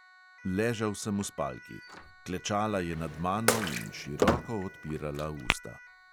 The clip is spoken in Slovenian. Ležal sem v spalki; klečala je nad mano in široko odpirala usta.